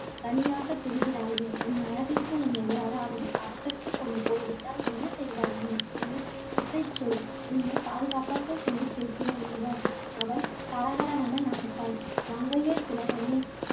தனியாகத் திரிகிறாயே உன் அழகுக்கு உன்னை யாராவது அபகரித்துக் கொண்டு போய்விட்டால் என்ன செய்வாய் உன் சொல். உன்னைப் பாதுகாப்பாக கொண்டு சேர்க்கிறேன், என்றான். அவள் கலகலவென நகைத்தாள். மங்கையர் திலகமே